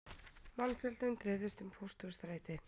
Mannfjöldinn dreifðist um Pósthússtræti